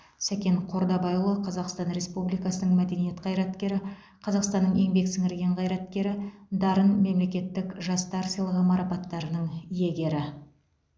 сәкен қордабайұлы қазақстан республикасының мәдениет қайраткері қазақстанның еңбек сіңірген қайраткері дарын мемлекеттік жастар сыйлығы марапаттарының иегері